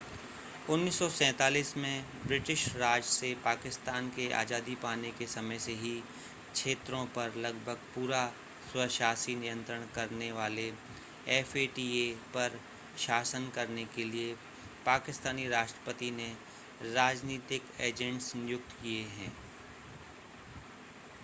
1947 में ब्रिटिश राज से पाकिस्तान के आज़ादी पाने के समय से ही क्षेत्रों पर लगभग पूरा स्वशासी नियंत्रण करने वाले fata पर शासन करने के लिए पाकिस्तानी राष्ट्रपति ने राजनीतिक एजेंट्स नियुक्त किए हैं